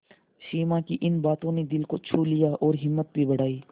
सिमा की इन बातों ने दिल को छू लिया और हिम्मत भी बढ़ाई